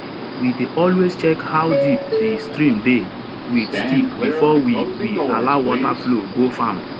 we dey always check how deep di stream dey with stick before we we allow water flow go farm